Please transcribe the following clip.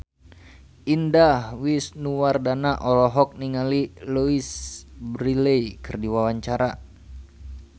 Indah Wisnuwardana olohok ningali Louise Brealey keur diwawancara